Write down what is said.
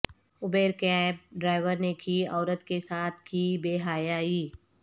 Uber cab driver نے کی عورت کے ساتھ کی بے حیائی